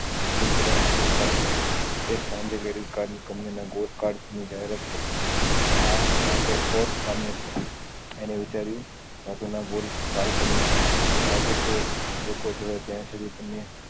એ પોતાના ના સુત્ર છાપશે એજ સાંજે ક્રેડીટ કાર્ડ ના કમ્પની ના ગોત કાર્ડ ની જાહેરાત થઇ આ આતો ઔર કામ નું છે એને વિચાર્યું કટો એના ગોળ કાર્ડ છાપું કે લોકો જેવા જ્યાં સુધી તમને